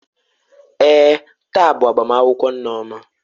Èè, taa bụ agbamakwụkwọ Nneoma.